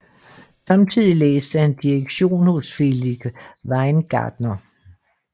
Samtidig læste han direktion hos Felix Weingartner